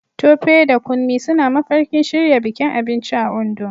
Tope da Kunmi suna mafarkin shirya bikin abinci a Ondo